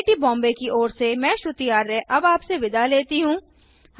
IIT Bombay की ओर से मैं श्रुति आर्य अब आप से विदा लेती हूँ